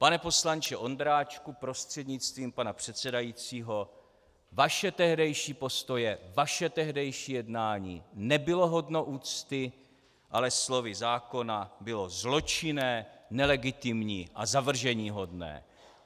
Pane poslanče Ondráčku prostřednictvím pana předsedajícího, vaše tehdejší postoje, vaše tehdejší jednání nebylo hodno úcty, ale slovy zákona bylo zločinné, nelegitimní a zavrženíhodné!